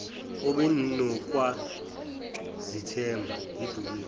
obenukwa izithende yibhubesi